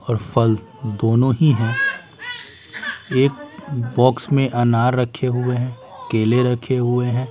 और फल दोनों ही हैं एक बॉक्स में अनार रखे हुए है केले रखे हुए हैं।